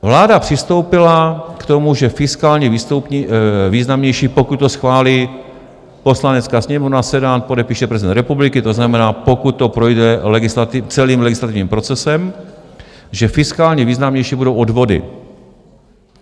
Vláda přistoupila k tomu, že fiskálně významnější - pokud to schválí Poslanecká sněmovna, Senát, podepíše prezident republiky, to znamená, pokud to projde celým legislativním procesem - že fiskálně významnější budou odvody.